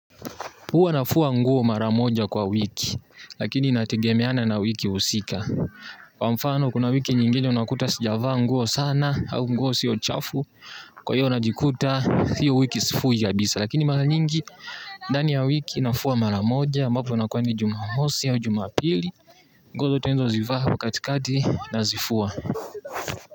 Huwa nafua nguo mara moja kwa wiki, lakini inategemeana na wiki husika. Kwa mfano, kuna wiki nyingine unakuta sijavaa nguo sana, au nguo sio chafu. Kwa hio najikuta, hio wiki sifui kabisa. Lakini mara nyingi ndani ya wiki nafua mara moja, ambapo inakua ni jumamosi au jumapili, nguo zote nilizozivaa katikati nazifua.